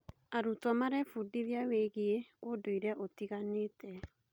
Arutwo marebundithia wĩgiĩ ũndũire ũtiganĩte.